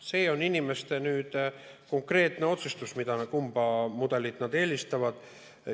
See on inimeste konkreetne otsustus, kumba mudelit nad eelistavad.